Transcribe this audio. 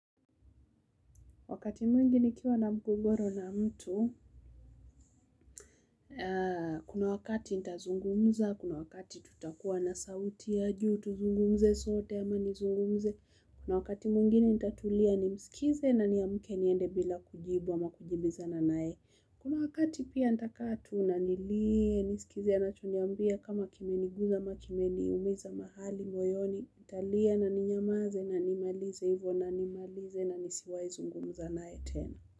Wakati mwingi nikiwa na mgogoro na mtu. Kuna wakati nitazungumza, kuna wakati tutakuwa na sauti ya juu, tuzungumze sote ama nizungumze. Kuna wakati mwingine nitatulia nimsikilize na niamke niende bila kujibu ama kujibizana naye. Kuna wakati pia nitakaa tu na nilie, nimsikilize anachoniambia kama kimeniumiza mahali moyoni, nitalia na kunyamaza na nimalize hivyo, na nisiwahi kuzungumza naye tena.